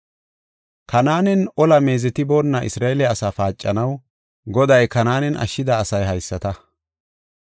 Kanaanen ola meezetiboonna Isra7eele asaa paacanaw Goday Kanaanen ashshida asay haysata.